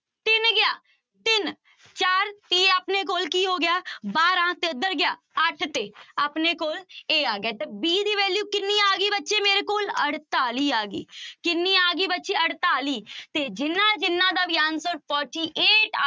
ਤੇ ਆਪਣੇ ਕੋਲ ਕੀ ਹੋ ਗਿਆ ਬਾਰਾਂ ਗਿਆ ਅੱਠ ਤੇ ਆਪਣੇ ਕੋਲ a ਆ ਗਿਆ ਤਾਂ b ਦੀ value ਕਿੰਨੀ ਆ ਗਈ ਬੱਚੇ ਮੇਰੇ ਕੋਲ ਅੜਤਾਲੀ ਆ ਗਈ ਕਿੰਨੀ ਆ ਗਈ ਬੱਚੇ ਅੜਤਾਲੀ ਤੇ ਜਿਹਨਾਂ ਜਿਹਨਾਂ ਦਾ ਵੀ answer forty eight